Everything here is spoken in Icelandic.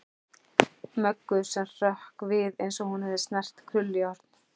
Möggu sem hrökk við eins og hún hefði snert krullujárn.